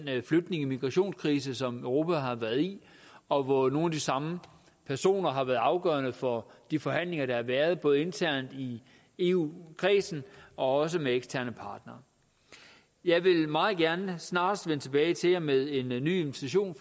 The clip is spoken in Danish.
flygtninge og migrationskrise som europa har været i og hvor nogle af de samme personer har været afgørende for de forhandlinger der har været både internt i eu kredsen og også med eksterne partnere jeg vil meget gerne snarest vende tilbage til jer med en ny invitation